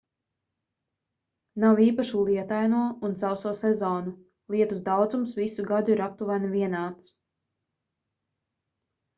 nav īpašu lietaino un sauso sezonu lietus daudzums visu gadu ir aptuveni vienāds